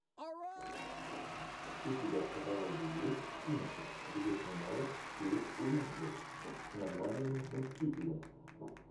у тебя в каталоге есть кинчик где снималась кейт уинслет с названием мстители